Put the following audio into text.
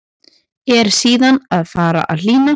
En síðan fari að hlýna.